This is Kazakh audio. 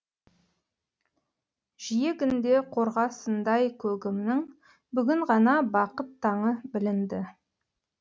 жиегінде қорғасындай көгімнің бүгін ғана бақыт таңы білінді